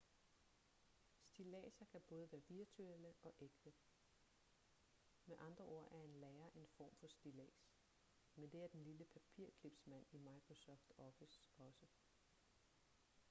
stilladser kan både være virtuelle og ægte med andre ord er en lærer en form for stillads men det er den lille papirclips-mand i microsoft office også